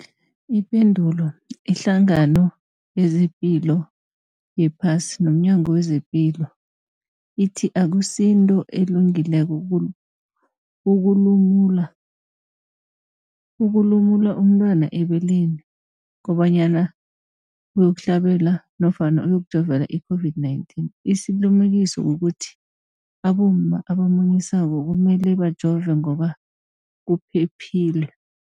Ipendulo, iHlangano yezePilo yePhasi nomNyango wezePilo ithi akusinto elungileko ukulumula ukulumula umntwana ebeleni kobanyana uyokuhlabela nofana uyokujovela i-COVID-19. Isilimukiso kukuthi abomma abamunyisako kumele bajove ngoba kuphephile.